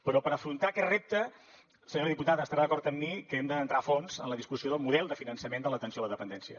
però per afrontar aquest repte senyora diputada estarà d’acord amb mi que hem d’entrar a fons en la discussió del model de finançament de l’atenció a la dependència